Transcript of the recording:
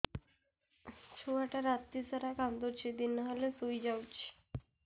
ଛୁଆ ରାତି ସାରା କାନ୍ଦୁଚି ଦିନ ହେଲେ ଶୁଇଯାଉଛି